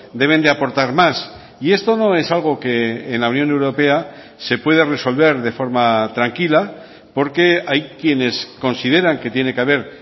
deben de aportar más y esto no es algo que en la unión europea se puede resolver de forma tranquila porque hay quienes consideran que tiene que haber